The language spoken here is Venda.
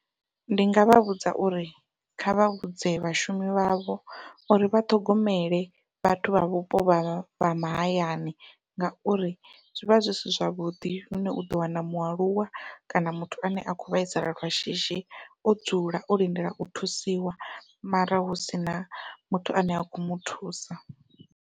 Ndi ngavha vhudza uri kha vha vhudze vhashumi vhavho uri vha ṱhogomele vhathu vha vhupo vha vha mahayani ngauri zwivha zwi si zwavhuḓi lune uḓo wana mualuwa kana muthu ane a kho vhaisala lwa shishi o dzula o lindela u thusiwa mara hu sina muthu ane a kho muthusa.